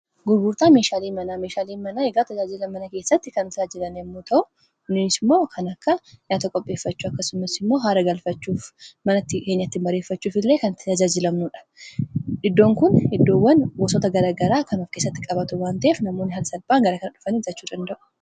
Gurgurtaa meeshaalee manaa meeshaalee manaa egaa tajaajiila mana keessatti kan talaajilan yemmuu ta'u inniis immoo kan akka nyaata qopheeffachuu akkasummas immoo haara galfachuuf mana keenyatti bareeffachuuf illee kan tajaajilamnuudha. iddoon kun heddoowwan gosoota garagaraa kan of keessatti qabatu wanta'eef namoonni haala salphaan garaa kana dhufanii itti tajaajila argachuu danda'u.